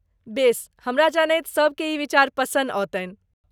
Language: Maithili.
बेस, हमरा जनैत सभके ई विचार पसन्द औतन्हि।